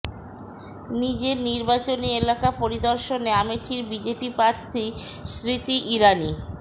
নিজের নির্বাচনী এলাকা পরিদর্শনে অমেঠির বিজেপি প্রার্থী স্মৃতি ইরানি